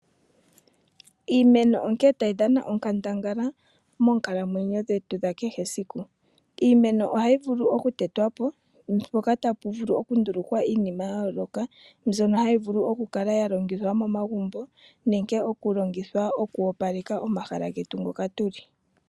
Iimeno onkene tayi dhana onkandangala moonkalamwenyo dhetu dhakehe esiku. Iimeno ohayi vulu okutetwapo mukandulukwe iinima yayoolokathana ngaashi iihongomwa yiipundi, iitaafula niikwatelwa yilwe yomegumbo.